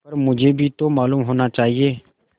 पर मुझे भी तो मालूम होना चाहिए